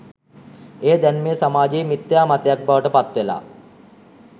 එය දැන් මේ සමාජයේ මිත්‍යා මතයක් බවට පත්වෙලා